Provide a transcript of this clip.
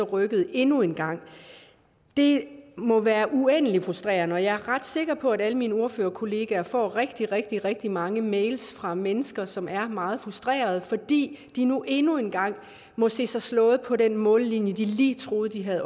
rykket endnu en gang det må være uendelig frustrerende jeg er ret sikker på at alle mine ordførerkolleger får rigtig rigtig rigtig mange mails fra mennesker som er meget frustrerede fordi de nu endnu en gang må se sig slået på den mållinje de lige troede de havde